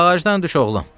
Ağacdan düş, oğlum.